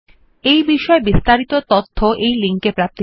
এই বিষয় বিস্তারিত তথ্য এই লিঙ্ক এ প্রাপ্তিসাধ্য